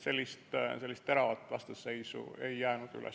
Sellist teravat vastasseisu ei jäänud üles.